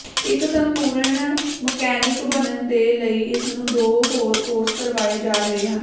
ਇਕ ਸੰਪੂਰਨ ਮਕੈਨਿਕ ਬਨਣ ਦੇ ਲਈ ਇਸਨੂੰ ਦੋ ਹੋਰ ਕੋਰਸ ਕਰਵਾਏ ਜਾ ਰਹੇ ਹਨ